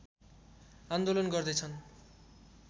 आन्दोलन गर्दै छन्